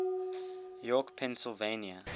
york pennsylvania